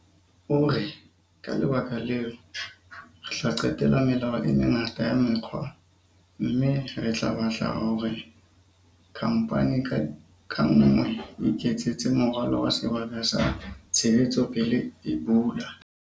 O re, "Ka lebaka leo, re tla qetela melao e mengata ya mekga mme re tla batla hore khamphani ka nngwe e iketsetse moralo wa sebaka sa tshebetso pele e bula."